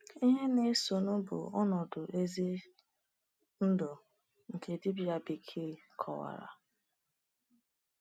Ihe na-esonụ bụ ọnọdụ ezi ndụ nke dibia bekee kọwara.